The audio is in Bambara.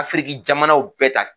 Afriki jamanaw bɛɛ ta